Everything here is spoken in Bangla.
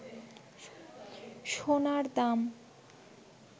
সোনার দাম